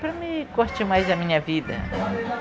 Para mim, curtir mais a minha vida.